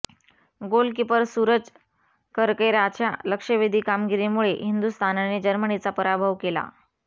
goalkeeper Suraj करकेराच्या लक्षवेधी कामगिरीमुळे हिंदुस्थानने जर्मनीचा पराभव केला